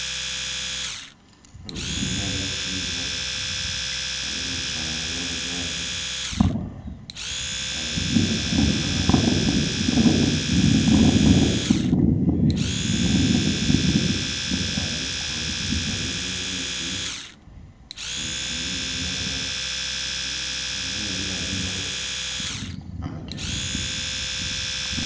Ogu nindeeba ari omushaija ari omu eishamba ry'amajaani arimu naacwa naashoroma amajaani nindeeba enyima ye hariyo hariyo ebikondo hariyo emiti mingi munonga nindeeba ariyo naagyezaho kucwa amajaani.